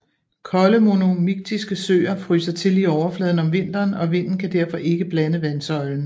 Kolde monomiktiske søer fryser til i overfladen om vinteren og vinden kan derfor ikke blande vandsøjlen